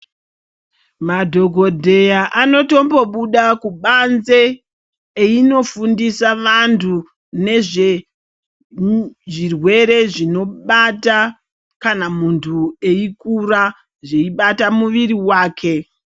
Madhogodheya anotombo buda kubanze einofundisa vantu nezve zvirwere zvinobata kana muntu eikura, zveibata muviri vake.